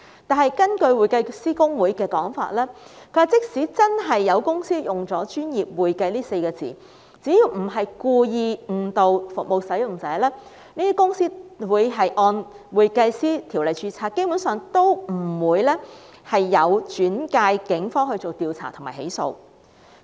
然而，根據香港會計師公會的說法，即使真的有公司使用"專業會計"這稱謂，只要不是故意誤導服務使用者，他們會按《專業會計師條例》註冊，基本上也不會轉介警方調查及起訴。